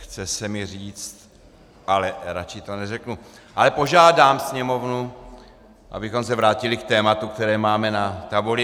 Chce si mi říct, ale raději to neřeknu, ale požádám Sněmovnu, abychom se vrátili k tématu, které máme na tabuli.